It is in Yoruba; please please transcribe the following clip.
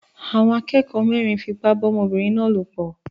Àwọn akẹ́kọ̀ọ́ mẹ́rin fipá bá ọmọbìnrin náà lòpọ̀